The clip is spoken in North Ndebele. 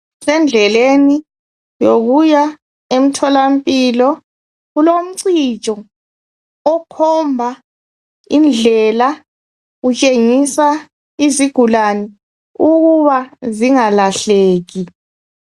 Sendleleni yokuya emtholampilo kulomcijo okhomba indlela utshengisa izigulani ukuba zingalahleki.